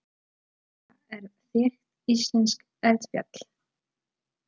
Hekla er þekkt íslenskt eldfjall.